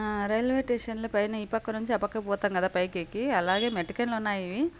ఆ railway station లో పైన ఈ పక్క నుంచి ఆ పక్కకి పోతాం కదా పైకెక్కి అలానే మెటికలు ఉన్నాయి.